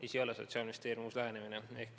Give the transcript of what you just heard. Ei, see ei ole Sotsiaalministeeriumi uus lähenemine.